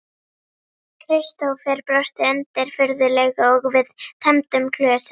Kristófer brosti undirfurðulega og við tæmdum glösin.